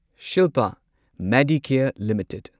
Shilpa Medicare limited